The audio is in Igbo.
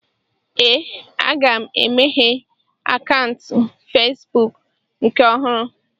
Ee, aga m emeghe akaụntụ Fesbụụk nke ọhụrụ